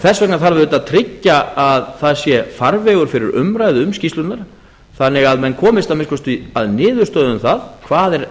þess vegna þarf auðvitað að tryggja að það sé farvegur fyrir umræðu um skýrslurnar þannig að menn komist að minnsta kosti að niðurstöðu um það hvað er